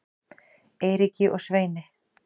Eiríki og Sveini